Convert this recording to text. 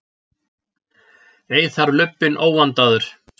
Ei þarf lubbinn óvandaður